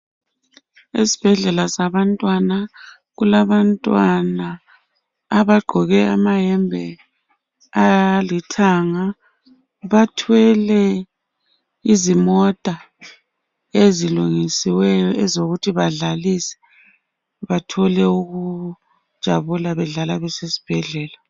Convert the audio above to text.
Ezibhedlela zabantwana kulabantwana abagqoke amayembe alithanga. Bathwele izimota ezilungisiweyo ezokuthi badlalise bathole ukujabula bedlala besesibhedlela.